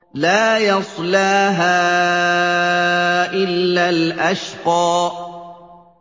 لَا يَصْلَاهَا إِلَّا الْأَشْقَى